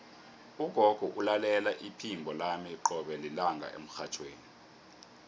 ugogo ulalela iphimbo lami qobe lilanga emrhatjhweni